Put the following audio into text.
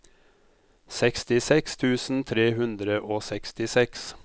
sekstiseks tusen tre hundre og sekstiseks